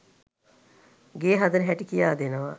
ගේ හදන හැටි කියා දෙනවා.